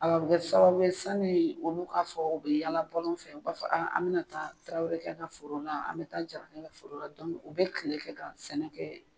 A bɛ sababu ye sanni olu k'a fɔ u bɛ yaala bɔlɔn fɛ, u b'a fɔ an bɛna taa Tarawelekɛ ka foro la, an bɛ taa Jarakɛ ka foro la, u bɛ kile kɛ ka sɛnɛkɛ